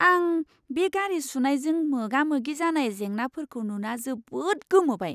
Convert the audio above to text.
आं बे गारि सुनायजों मोगामोगि जानाय जेंनाफोरखौ नुना जोबोद गोमोबाय!